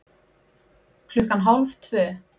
Klukkan hálf tvö